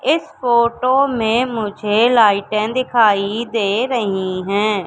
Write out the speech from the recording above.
इस फोटो में मुझे लाइटें दिखाई दे रही है।